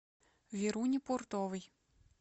веруни пуртовой